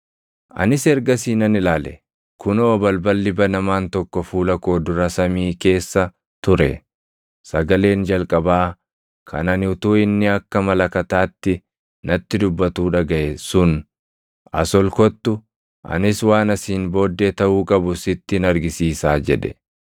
Anis ergasii nan ilaale; kunoo balballi banamaan tokko fuula koo dura samii keessa ture. Sagaleen jalqabaa kan ani utuu inni akka malakataatti natti dubbatuu dhagaʼe sun, “As ol kottu; anis waan asiin booddee taʼuu qabu sittin argisiisaa” jedhe.